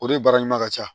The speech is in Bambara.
O de baara ɲuman ka ca